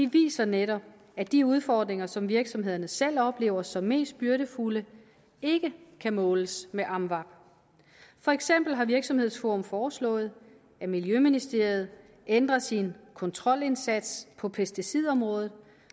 viser netop at de udfordringer som virksomhederne selv oplever som mest byrdefulde ikke kan måles med amvab for eksempel har virksomhedsforum foreslået at miljøministeriet ændrer sin kontrolindsats på pesticidområdet